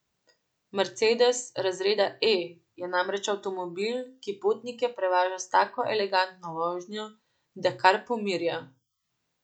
Mercedes razreda E je namreč avtomobil, ki potnike prevaža s tako elegantno vožnjo, da kar pomirja.